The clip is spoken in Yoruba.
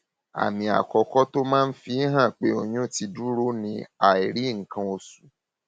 àmì àkọkọ tó máa ń fi hàn pé oyún ti dúró ni àìrí nǹkan oṣù